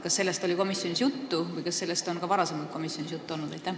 Kas sellest oli komisjonis juttu ja kas sellest on ka varem komisjonis juttu olnud?